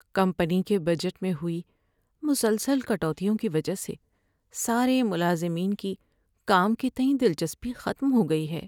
Company کے budget میں ہوئی مسلسل کٹوتیوں کی وجہ سے سارے ملازمین کی کام کے تئیں دلچسپی ختم ہو گئی ہے۔